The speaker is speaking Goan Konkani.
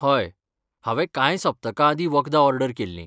हय, हांवें कांय सप्तकां आदीं वखदां ऑर्डर केल्लीं.